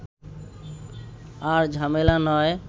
আর ঝামেলা নয়